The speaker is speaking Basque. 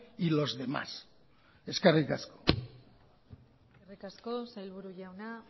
y los demás eskerrik asko eskerrik asko sailburu jauna